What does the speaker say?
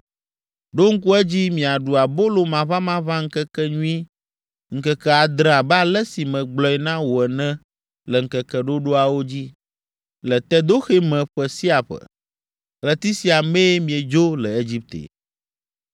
“Ɖo ŋku edzi miaɖu Abolo Maʋamaʋã Ŋkekenyui ŋkeke adre abe ale si megblɔe na wò ene le ŋkeke ɖoɖoawo dzi, le Tedoxe me ƒe sia ƒe. Ɣleti sia mee miedzo le Egipte.